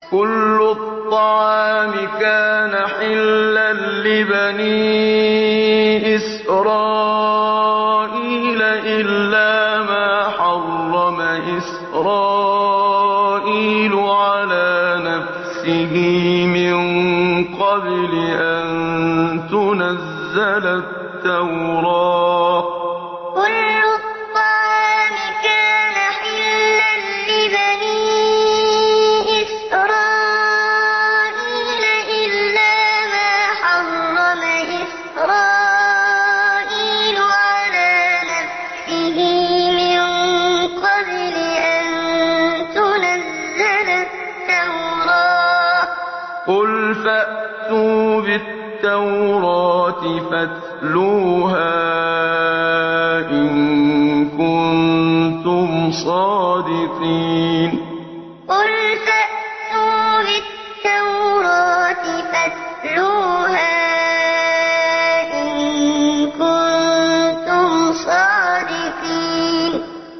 ۞ كُلُّ الطَّعَامِ كَانَ حِلًّا لِّبَنِي إِسْرَائِيلَ إِلَّا مَا حَرَّمَ إِسْرَائِيلُ عَلَىٰ نَفْسِهِ مِن قَبْلِ أَن تُنَزَّلَ التَّوْرَاةُ ۗ قُلْ فَأْتُوا بِالتَّوْرَاةِ فَاتْلُوهَا إِن كُنتُمْ صَادِقِينَ ۞ كُلُّ الطَّعَامِ كَانَ حِلًّا لِّبَنِي إِسْرَائِيلَ إِلَّا مَا حَرَّمَ إِسْرَائِيلُ عَلَىٰ نَفْسِهِ مِن قَبْلِ أَن تُنَزَّلَ التَّوْرَاةُ ۗ قُلْ فَأْتُوا بِالتَّوْرَاةِ فَاتْلُوهَا إِن كُنتُمْ صَادِقِينَ